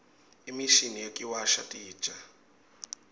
imishini yekuwasha titja